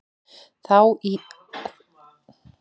Það á í vandræðum með að sitja kyrrt og talar oft mjög mikið.